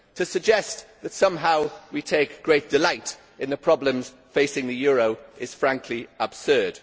To suggest that somehow we take great delight in the problems facing the euro is, frankly, absurd.